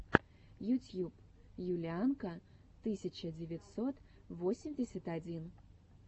ютьюб юлианка тысяча девятьсот восемьдесят один